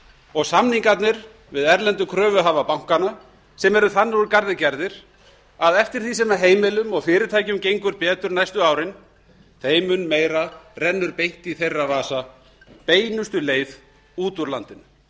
og samningarnir við erlendu kröfuhafa bankanna sem eru þannig úr garði gerðir að eftir því sem heimilum og fyrirtækjum gengur betur næstu árin þeim mun meira rennur beint í þeirra vasa beinustu leið út úr landinu